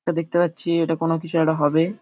এটা দেখতে পাচ্ছি এটা কোনো কিছু একটা হবে।